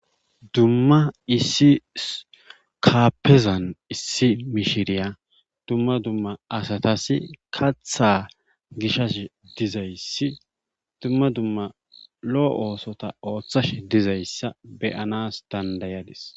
Dumma issi kaafezan issi mishiriya dumma duma asatas kaththa gishashe dizaygi dumma dumma lo'o oosota ooththashe dizayssa be'anas dandda'adis.